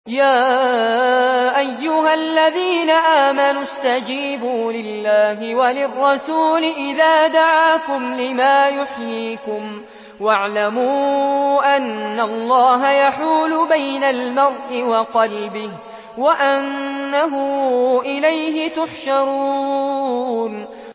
يَا أَيُّهَا الَّذِينَ آمَنُوا اسْتَجِيبُوا لِلَّهِ وَلِلرَّسُولِ إِذَا دَعَاكُمْ لِمَا يُحْيِيكُمْ ۖ وَاعْلَمُوا أَنَّ اللَّهَ يَحُولُ بَيْنَ الْمَرْءِ وَقَلْبِهِ وَأَنَّهُ إِلَيْهِ تُحْشَرُونَ